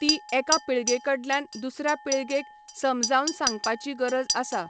ती एका पिळगे कडल्यान दुसऱ्या पिळगेक समजावन सांगपाची गरज आसा.